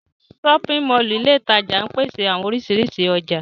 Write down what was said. Ṣọpin Mọllu ile itaja ńpese awọn orisirisi ọja.